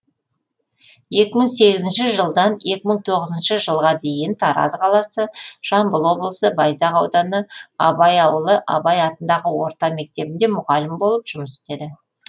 екі мың сегізінші жылдан екі мың тоғызыншы жылға дейін тараз қаласы жамбыл облысы байзақ ауданы абай ауылы абай атындағы орта мектебінде мұғалім болып жұмыс істеді